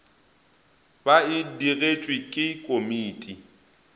ba e digetšwe ke komiti